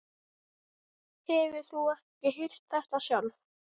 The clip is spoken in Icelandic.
Ég ætlaði alltaf að hringja til þín, Sif.